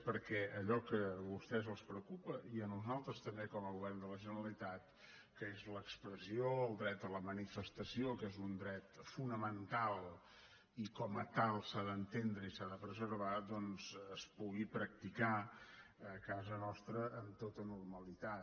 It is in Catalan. perquè allò que a vostès els preocupa i a nosaltres també com a govern de la generalitat que és l’expressió el dret a la manifestació que és un dret fonamental i com a tal s’ha d’entendre i s’ha de preservar doncs es pugui practicar a casa nostra amb tota normalitat